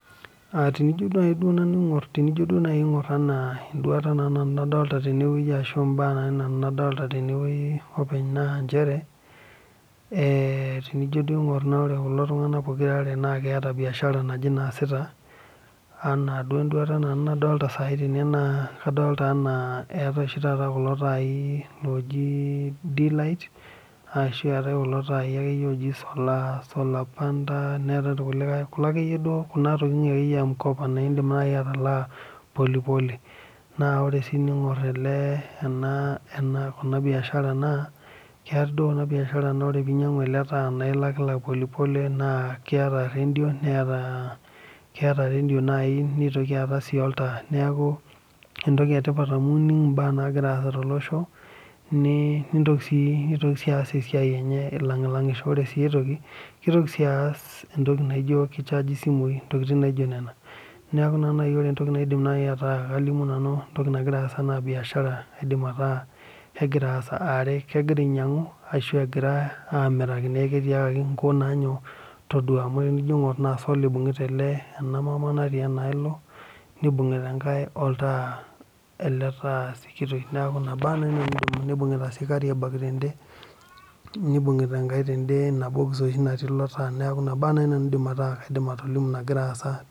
Tenijo naaji aing'or enaa enduata nadolita nanu ena mbaa nadolita nanu tene openy naa tenijo aing'or ore kulo tung'ana pookira are naa keeta biashara naaje naasita ena duo enduata nanu nadolita kadolita ena etai oshii taata kula tai looji d_light ashu etae kulo tai oji solar_panda neetae kulikae kulo ake yie duo akeyio tokitin e m_kopa naa edim oltung'ani atalaa polepole naa ore sii tening'or ena biashara naa keetae duo ena biashara naa teninyiangu ele taa naa elakilak polepole naa ketaa radio nitoki ataa oltaa neeku entoki etipat amu enig embaa naagira asaa tolosho nintoki sii aas esiai elengilangisho ore sii aitoki kitoki sii aas entoki naijio kichargi ee simui ntokitin naijio Nena neeku ore naaji entoki naidim ataa kalimu nanu entoki naagira asaa naa biashara edim ataa kegira ainyiang'u ashu egira amiraki neeku ketiakaki enkop naa todua amu tenijo aing'or naa solar eibungita ena mama natii enaloo nibungita enkae oltaa ele taa sikitoi nibungita sii carrier bag tede nibungita enkae tene Ina box oshi natii eloo taa neeku ena naaji nanu aidim ataa kaidim atolimu nagira asaa